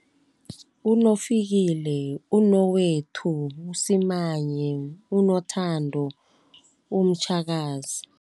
UnoFikile, unoWethu, uSimanye, unoThando, uMtjhakazi.